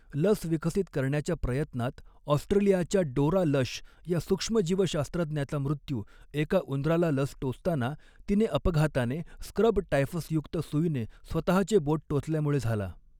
लस विकसित करण्याच्या प्रयत्नात, ऑस्ट्रेलियाच्या डोरा लश या सूक्ष्मजीवशास्त्रज्ञाचा मृत्यू एका उंदराला लस टोचताना, तिने अपघाताने स्क्रब टायफसयुक्त सुईने स्वतःचे बोट टोचल्यामुळे झाला.